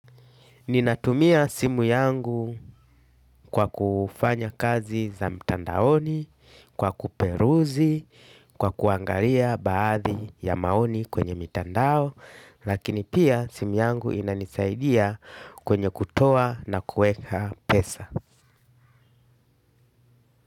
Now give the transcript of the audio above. Ninatumia simu yangu kwa kufanya kazi za mtandaoni, kwa kuperuzi, kwa kuangalia baadhi ya maoni kwenye mitandao, lakini pia simu yangu inanisaidia kwenye kutoa na kuweka pesa.